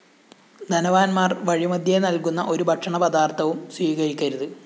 ധനവാന്മാര്‍ വഴിമദ്ധ്യേനല്‍കുന്ന ഒരു ഭക്ഷണപദാര്‍ത്ഥവും സ്വീകരിക്കരുത്